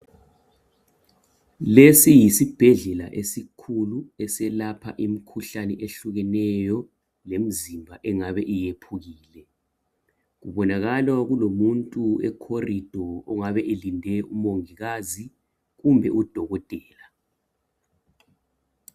Lesi yisibhedlela esikhulu eselapha imikhuhlane ehlukeneyo lemzimba engabe yephukile. Kubonakala kulomuntu e corridor ongabe elinde umongikazi kumbe udokotela